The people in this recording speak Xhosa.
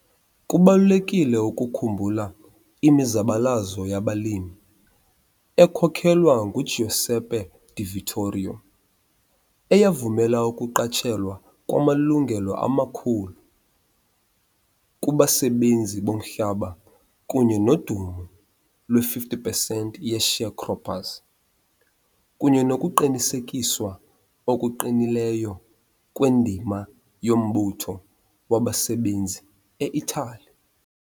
Kubalulekile ukukhumbula imizabalazo yabalimi ekhokelwa nguGiuseppe Di Vittorio, eyavumela ukuqatshelwa kwamalungelo amakhulu kubasebenzi bomhlaba kunye nodumo lwe-50 pesenti ye- sharecroppers, kunye nokuqinisekiswa okuqinileyo kwendima yombutho wabasebenzi e-Italy.